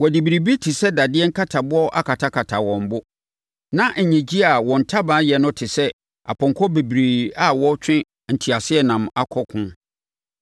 Wɔde biribi te sɛ dadeɛ nkataboɔ akatakata wɔn bo. Na nnyegyeeɛ a wɔn ntaban yɛ no te sɛ apɔnkɔ bebree a wɔretwe nteaseɛnam akɔ ɔko.